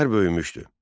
Şəhər böyümüşdü.